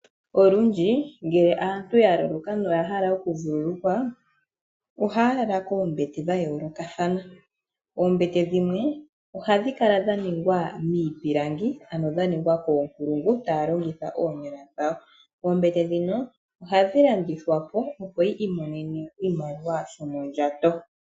Olundji ngele aantu ya loloka na oyahala okuvululukwa, ohaya lala koombete dha yoolokathana. Oombete dhimwe, ohadhi kala dha hongwa miipilangi, ano dha longwa koonkulungu taya longitha oonyala dhawo. Oombete dhoka ohadhi landithwa po opo yi imonene oshimaliwa shomondjato.